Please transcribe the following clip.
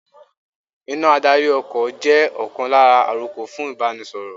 Iná adarí ọkọ̀ jẹ́ ọ̀kan lára àrokò fún Ìbánisọ̀rọ̀